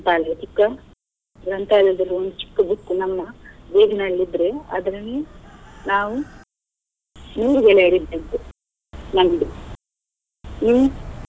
ಗ್ರಂಥಾಲಯ ಚಿಕ್ಕ ಗ್ರಂಥಾಲಯದಲ್ಲಿ ಒಂದು ಚಿಕ್ಕ book ನಮ್ಮ bag ನಲ್ಲಿದ್ರೆ ಅದ್ರಲ್ಲಿ ನಾವು ನೂರು ಗೆಳೆಯರು ಇದ್ದದ್ದು ನಮ್ದು ಹ್ಮ್‌.